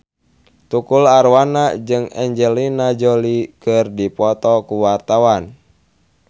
Tukul Arwana jeung Angelina Jolie keur dipoto ku wartawan